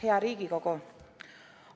Hea Riigikogu!